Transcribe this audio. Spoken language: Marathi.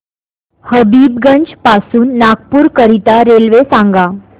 हबीबगंज पासून नागपूर करीता रेल्वे सांगा